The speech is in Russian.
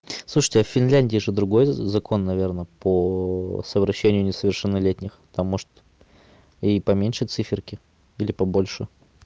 слушайте а в финляндии же другой закон наверное по совращению несовершеннолетних там может и поменьше циферки или побольше